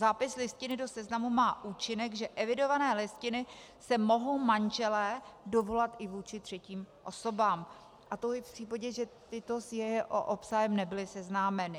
Zápis listiny do seznamu má účinek, že evidované listiny se mohou manželé dovolat i vůči třetím osobám, a to i v případě, že tyto s jeho obsahem nebyly seznámeny.